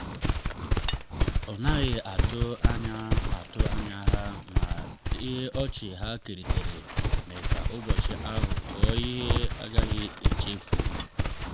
ọ naghị atụ anya atụ anya ha ma ọchị ha keritere mee ka ụbọchị ahụ ghọọ ihe a gaghị echefu.